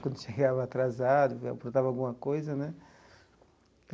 Quando chegava atrasado, aprontava alguma coisa, né?